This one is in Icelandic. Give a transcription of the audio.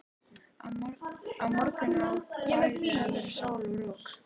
Á morgun á bæði að vera sól og rok.